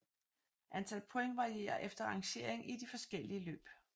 Antal point varierer efter rangering i de forskellige løb